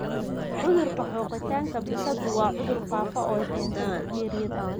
Cudurka xoqitaanka bisadu waa cudur faafa oo ay keento bakteeriyada bartonella.